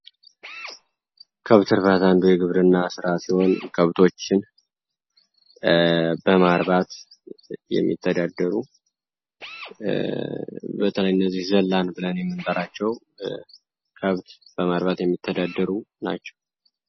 ከብት እርባታ አንዱ የግብርና ስራ ሲሆን ከብቶችን በማርባት የሚተዳደሩ በተለይ እነዚ ዘላን ብለን የምንጠራቸው ከብት በማርባት የሚተዳደሩ ናቸው።